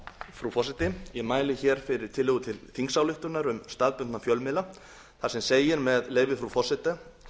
frú forseti ég mæli hér fyrir tillögu til þingsályktunar um staðbundna fjölmiðla þar sem segir með leyfi frú forseta